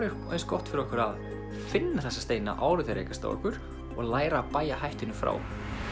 eins gott fyrir okkur að finna þessa steina áður en þeir rekast á okkur og læra að bægja hættunni frá